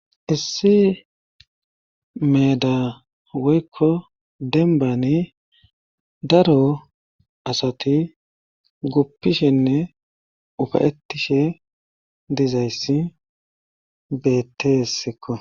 issi meda woykko denbani daro asati guppishenne ufayettishe dizayssi beetteessekko